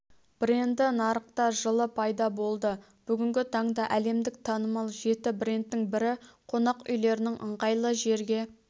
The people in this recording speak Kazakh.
бренді нарықта жылы пайда болды бүгінгі таңда әлемдік танымал жеті брендтің бірі қонақ үйлерінің ыңғайлы жерге